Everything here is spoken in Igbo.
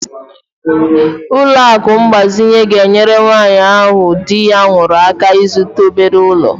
Ụlọ akụ mgbazinye ga-enyere nwanyị ahụ di ya nwụrụ aka ịzụta obere ụlọ.